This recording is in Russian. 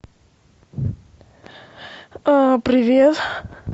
привет